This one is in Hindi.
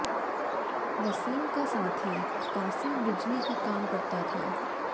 वसीम का साथी कासिम बिजली का काम करता था